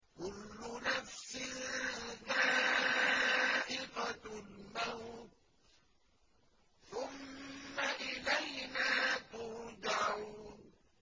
كُلُّ نَفْسٍ ذَائِقَةُ الْمَوْتِ ۖ ثُمَّ إِلَيْنَا تُرْجَعُونَ